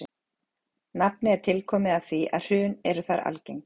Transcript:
Nafnið er tilkomið af því að hrun eru þar algeng.